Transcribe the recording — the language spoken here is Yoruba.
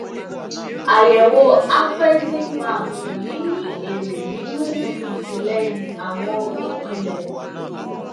àyẹwò afreximbank kò ní ní èrè nínú ìtìlẹyìn àwọn onípínlẹ